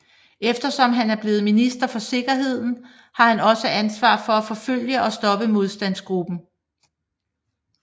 Eftersom han er blevet minister for sikkerheden har han også ansvar for at forfølge og stoppe Modstandsgruppen